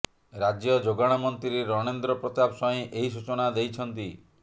ରାଜ୍ୟ ଯୋଗାଣ ମନ୍ତ୍ରୀ ରଣେନ୍ଦ୍ର ପ୍ରତାପ ସ୍ୱାଇଁ ଏହି ସୂଚନା ଦେଇଛନ୍ତି